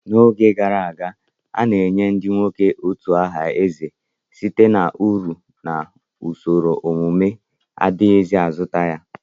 N'oge gara aga, a na-enye ndị nwoke utu aha eze site na uru na usoro ọmụmụ, adighi azụta ya.